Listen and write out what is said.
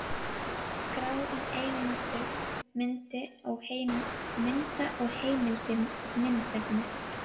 Skrá um eigendur mynda og heimildir myndefnis.